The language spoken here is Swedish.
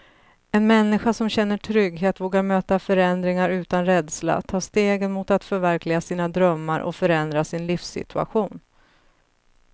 En människa som känner trygghet vågar möta förändringar utan rädsla, ta stegen mot att förverkliga sina drömmar och förändra sin livssituation.